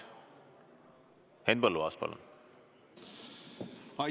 Henn Põlluaas, palun!